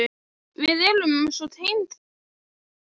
Við erum svo tengd þrátt fyrir allt.